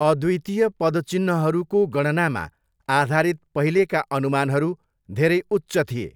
अद्वितीय पदचिह्नहरूको गणनामा आधारित पहिलेका अनुमानहरू धेरै उच्च थिए।